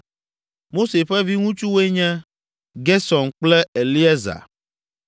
Mose ƒe viŋutsuwoe nye, Gersom kple Eliezer.